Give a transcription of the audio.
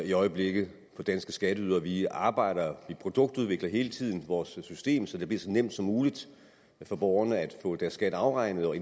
i øjeblikket for danske skatteydere vi arbejder og produktudvikler hele tiden vores system så det bliver så nemt som muligt for borgerne at få deres skat afregnet og